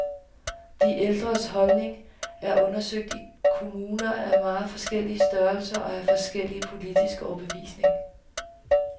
De ældres holdning er undersøgt i kommuner af meget forskellig størrelse og af forskellig politisk overbevisning.